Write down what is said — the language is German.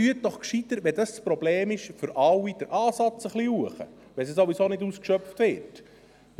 Wenn dies das Problem ist, setzen Sie doch einfach den Ansatz etwas hinauf, wenn es ja ohnehin nicht ausgeschöpft wird.